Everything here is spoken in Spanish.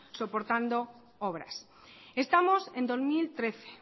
soportando obras estamos en dos mil trece